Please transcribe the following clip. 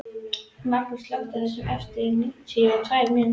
Magnþóra, slökktu á þessu eftir níutíu og tvær mínútur.